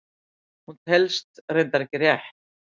Hún telst reyndar ekki rétt!